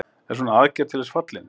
Er svona aðgerð til þess fallin?